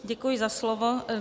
Děkuji za slovo.